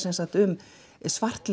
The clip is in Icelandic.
um